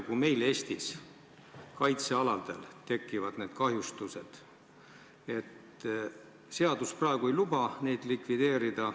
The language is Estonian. Kui ka meil Eestis kaitsealadel need kahjustused tekivad, siis praegune seadus ei luba neid likvideerida.